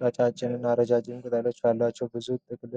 ቀጫጭን እና ረዣዥም ቅጠሎች ያላቸው ብዙ ጥቅጥቅ